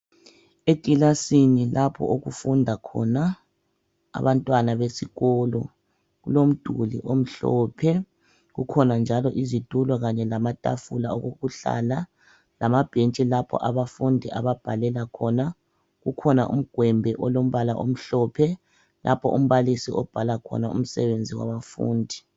Ekilasini lapho okufunda khona abantwana besikolo kulomduli omhlophe kukhona njalo izitulo kanye lamatafula okuhlala lamabhentshi lapho abafundi ababhalela khona. Kukhona umgwembe olombala omhlophe lapha umbalisi obhala khona umsebenzi wabafundi.